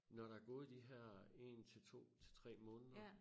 Når der gået de her én til 2 til 3 måneder